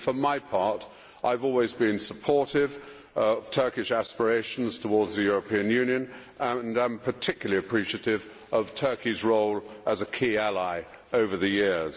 For my part, I have always been supportive of Turkish aspirations towards the European Union and I am particularly appreciative of Turkey's role as a key ally over the years.